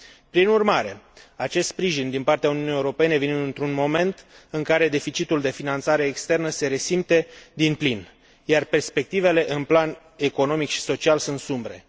Prin urmare, acest sprijin din partea Uniunii Europene vine într un moment în care deficitul de finanțare externă se resimte din plin, iar perspectivele în plan economic și social sunt sumbre.